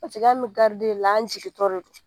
an bɛ la an jigintɔ don